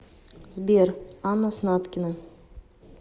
сбер анна снаткина